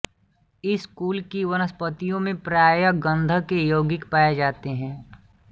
इस कुल की वनस्पतियों में प्राय गंधक के यौगिक पाए जाते हैं